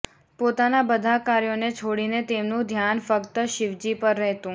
પોતાના બધા કાર્યોને છોડીને તેમનું ધ્યાન ફક્ત શિવજી પર રહેતું